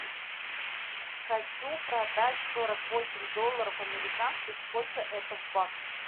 хочу продать сорок восемь долларов американских сколько это в баксах